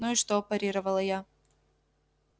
ну и что парировала я